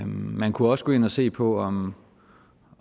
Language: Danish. man kunne også gå ind at se på om